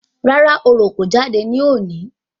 Rárá, oro kò jáde ní òní